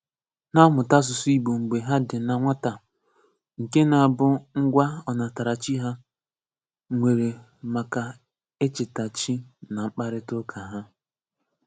Ná-àmụ̀tà àsụsụ̀ mḡbé hà dị́ ná nwàtà nké ná-àbụ̀ ngwá ọnàtáràchí hà nwere makà échètáchí nà mkpàrịtụ́àká hà.